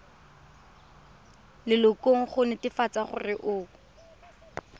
lelokong go netefatsa gore o